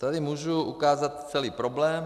Tady můžu ukázat celý problém.